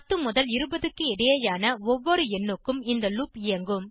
10 முதல் 20 க்கு இடையேயான ஒவ்வொரு எண்ணுக்கும் இந்த லூப் இயங்கும்